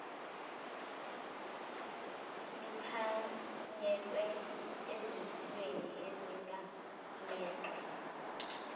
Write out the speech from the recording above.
liphanyekwe ezinsikeni ezigamegxe